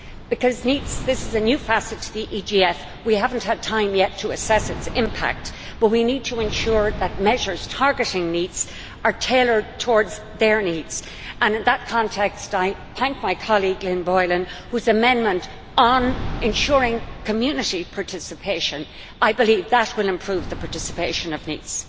Because this a new facet to the EGF, we have not had time yet to assess its impact, but we need to ensure that measures targeting NEETs are tailored towards their needs, and in that context I thank my colleague, Lynn Boylan, whose amendment on ensuring community participation will, I believe, improve the participation of NEETs.